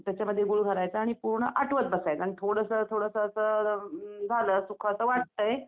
त्याच्यामध्ये गूळ भरायचा आणि पूर्ण आटवत बसायचं आणि थोडंसं थोडंसं झालं सुकं वाटतंय.